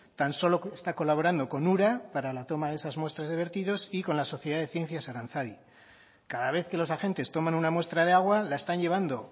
tan solo está colaborando con ura para la toma de esas muestras de vertidos y con la sociedad de ciencias aranzadi cada vez que los agentes toman una muestra de agua la están llevando